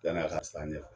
Yann'a ka se an ɲɛfɛ